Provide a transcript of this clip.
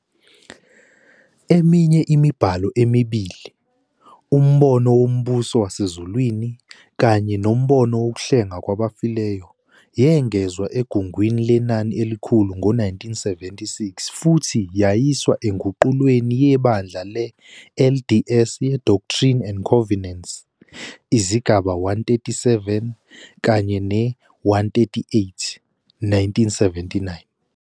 Eminye imibhalo emibili, "Umbono Wombuso Wasezulwini" kanye "Nombono Wokuhlengwa Kwabafileyo", yengezwa eGungwini Lenani Elikhulu ngo-1976 futhi yayiswa enguqulweni yeBandla le-LDS ye-Doctrine and Covenants, izigaba 137 kanye ne-138, 1979.